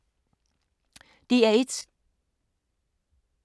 DR1